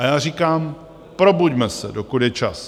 A já říkám, probuďme se, dokud je čas.